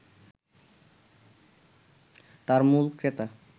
তার মূল ক্রেতা